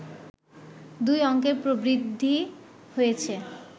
দুই অংকের প্রবৃদ্ধি হয়েছে